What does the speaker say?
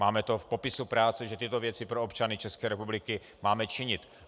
Máme to v popisu práce, že tyto věci pro občany České republiky máme činit.